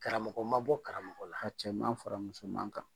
Karamɔgɔ ma bɔ karamɔgɔ la. A cɛman far'a musoman kan.